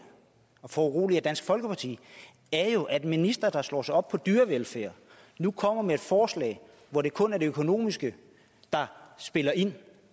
og foruroliger dansk folkeparti er jo at en minister der slår sig op på dyrevelfærd nu kommer med et forslag hvor det kun er det økonomiske der spiller ind